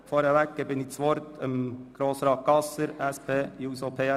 Zuerst erteilte ich das Wort Grossrat Gasser, PSA.